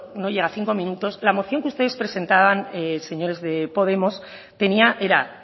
no llega a cinco minutos la moción que ustedes presentaban señores de podemos tenía era